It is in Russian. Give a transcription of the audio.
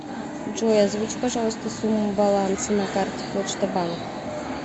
джой озвучь пожалуйста сумму баланса на карте почта банк